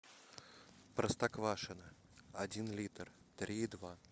простоквашино один литр три и два